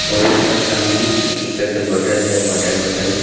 वो लोग का सामने एक एक करके बोतल है वाटर बॉटल --